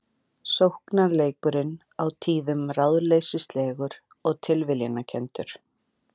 Sóknarleikurinn á tíðum ráðleysislegur og tilviljanakenndur